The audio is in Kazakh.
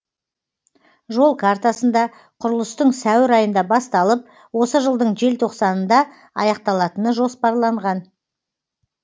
жол картасында құрылыстың сәуір айында басталып осы жылдың желтоқсанында аяқталатыны жоспарланған